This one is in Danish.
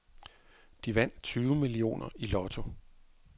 De vandt tyve millioner i lotto.